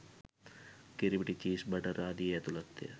කිරිපිටි cheese butter ආදියේ ඇතුළත්ය